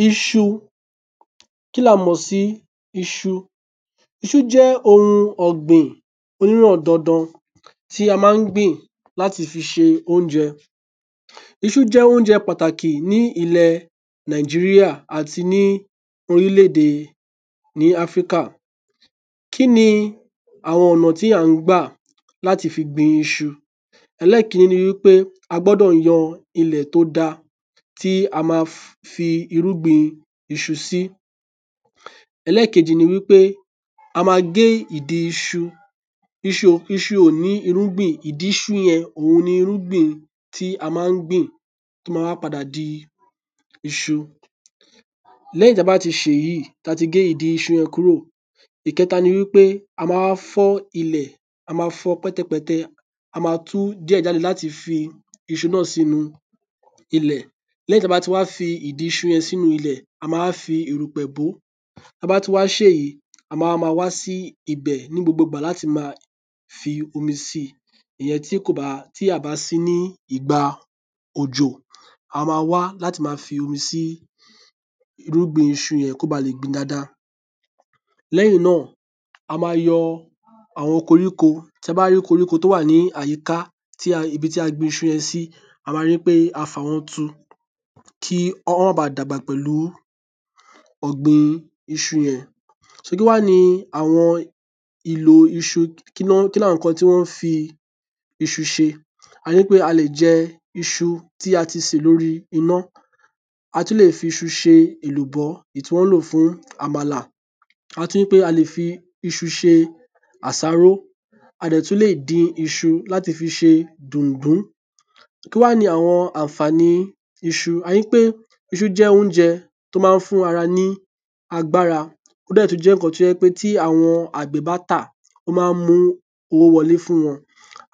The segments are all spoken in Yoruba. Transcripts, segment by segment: ﻿IṢU Kí la mọ̀ sí iṣu? Iṣu jẹ́ ohun ọ̀gbìn tí a máa ń gbìn láti fi ṣe oúnjẹ. Iṣu jẹ́ oúnjẹ pàtàkì ní orílẹ̀-èdè ní ilẹ̀ Nàìjíríà àti ní orílẹ̀-èdè ni Áfíríkà. Kí ni àwọn ọ̀nà tí à ń gbà láti fi gbin iṣu? Ẹlẹ́ẹ̀kínní ni pé a gbọ́dọ̀ yan ilẹ̀ tó dáa ti a ma fi irúgbìn iṣu sí. Ẹlẹ́ẹ̀kejì ni wipé a ma ge idi iṣu, iṣu iṣu o ni irugbin, idi iṣu yen oun ni irungbin ti a ma n gbin ti o ma wa pada di iṣu. leyin ta ba ti se eyi, ti a ti ge idi isu yen kuro iketa nipe a wa fo ile, a ma fo pẹ̀tẹ̀pẹ́tẹ̀, a ma tu die jade lati fi isu na si ile. Gígé tí a gé iṣu sí wẹ́wẹ́ níwọ̀nba ni a ń pè ní èèbù, ṣùgbọ́n a kì í bẹ iṣu kí a tóó gé é sí èèbù. Ìkẹta ní pé a máa gbin iṣu náà sínú ilẹ̀. Lẹ́yìn èyí, a ó máa fi omi sí ìdí irúgbìn iṣu yìí bó bá jẹ́ pé àsìkò tí a gbìn ín kì í ṣe àsìkò òjò. Ọmi tí a ń fi sí i ló máa jẹ kí ó hù. Lẹ́yìn tí iṣu bá ti hù, a máa yo àwọn koríko tó bá hú ní àyíká iṣu yẹn tu kí wọ́n má baà dàgbà pelu ogbin iṣu yen. So, kinni awon ilo iṣu, Kí ni àwọn nǹkan tí won ń fi iṣu ṣe? A le jẹ iṣu ti a se lórí iná. A tún lè fi iṣu rọ àmàlà. A le fi iṣu ṣe àsárò. Ansì tún lè dín iṣu láti fi ṣe dùǹdú. Kí wáá ni àwọn àǹfààní iṣu? Iṣu jẹ oúnjẹ tó máa ń fún ara ní agbára. Ó sì tún jẹ́ ohun tí àwọn àgbẹ̀ ba tà o ma mu ówó wọ́le fun wọn.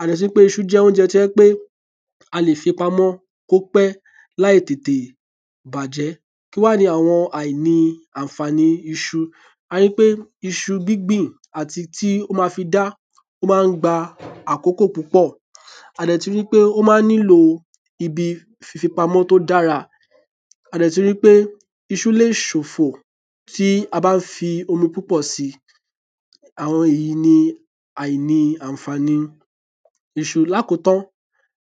Iṣu jẹ́ oúnjẹ tí a lè fi pamọ́ ko pẹ́ laí tètè bàjẹ́. Kí wáá ni àwọn aini àǹfààní iṣu? A rí i pé títí tí ó fi máa di àsìkò ọ̀dá iṣu, tí iṣu máa kára nílẹ̀, ó máa ń gbà àkókó púpọ̀. A de tun rí ì pé iṣu le ṣòfò tí a bá ń fi omi púpọ̀ sí í. Àwọn wọ̀nyí ni aini ànfààní iṣu Lákòótán,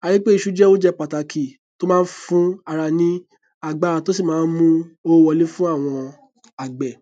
a ri pe iṣu jẹ oúnjẹ pàtàkì tó máa ń fún ara ní agbára, tó sí máa ń mú owó wọlé fún àwọn àgbẹ̀